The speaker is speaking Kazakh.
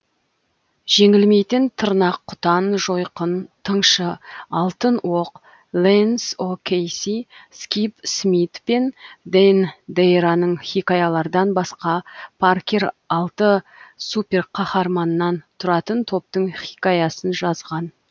жеңілмейтін тырнақұтан жойқын тыңшы алтын оқ лэнс о кейси скип смит пен дэн дейраның хикаялардан басқа паркер алты суперқаһарманнан тұратын топтың хикаясын жазған